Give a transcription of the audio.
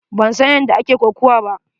Ban san yadda ake kokuwa ba.